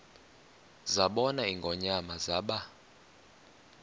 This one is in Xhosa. zabona ingonyama zaba